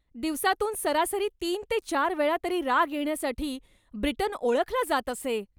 दिवसातून सरासरी तीन ते चार वेळा तरी राग येण्यासाठी ब्रिटन ओळखला जात असे.